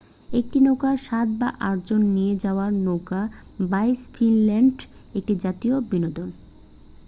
একটি নৌকায় সাত বা আট জন নিয়ে হওয়া নৌকা বাইচ ফিনল্যান্ডে একটি জাতীয় বিনোদন